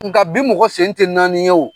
Nga bi mɔgɔ sen tɛ naani ye o.